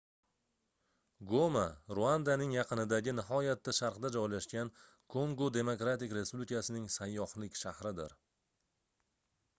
goma ruandaning yaqinidagi nihoyatda sharqda joylashgan kongo demokratik respublikasining sayyohlik shahridir